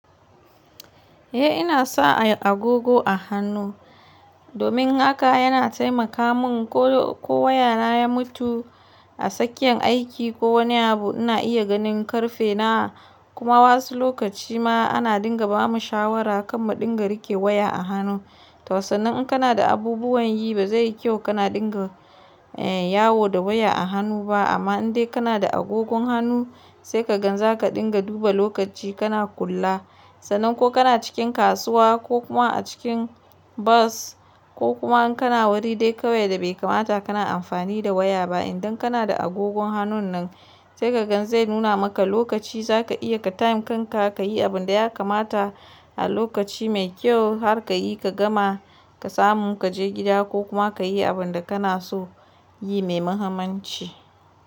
Eh ina sa agogo a hannu domin haka yana taimaka mun ko waya na ya mutu a sakiyan aiki ko wani abu ina iya ganin karfe nawa kuma wasu lokaci ma ana dinga bamu shawara kar mu dinga rike waya a hannu. Tosanin in kana da abubuwan yi ba zai yi kyau kana dinga yawo da waya a hannu ba amma in dai kana da agogon hannu sai ka gan za ka dinga duba lokaci kana kula. Sanan ko kana cikin kasuwa ko kuma a cikin bus ko kuma in kana wari dai kawai da bai kamata kana amfani da waya ba idan kana da agogon hannun nan sai kagan zai nuna maka lokaci zaka iya ka time kanka kayi abun da ya kamata a lokaci mai kyau har ka yi ka gama ka samu kaje gida ko kuma kayi abun da kana so yi mai muhimmanci.